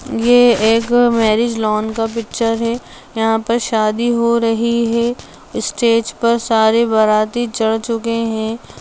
ये एक marriage lawn का पिक्चर है यहां पर शादी हो रही है स्टेज पर सारे बाराती चढ़ चुके हैं।